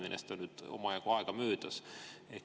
Sellest on nüüd omajagu aega möödas.